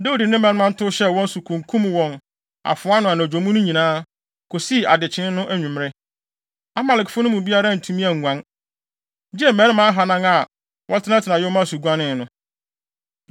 Dawid ne ne mmarima to hyɛɛ wɔn so, kunkum wɔn wɔ afoa ano anadwo mu no nyinaa, kosii adekyee no anwummere. Amalekfo no mu biara antumi anguan, gye mmarima ahannan a wɔtenatenaa yoma so guanee no.